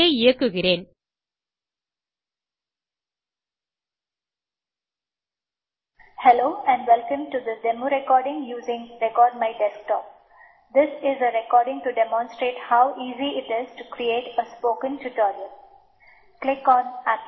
இதை இயக்குகிறேன்